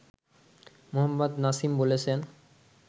মোহাম্মদ নাসিম বলেছেন